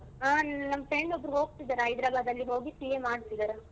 ನಮ್ಮ friend ಒಬ್ರು ಹೋಗ್ತಿದ್ದಾರೆ ಹೈದರಾಬಾದಲ್ಲಿ ಹೋಗಿ CA ಮಾಡ್ತಿದ್ದಾರ.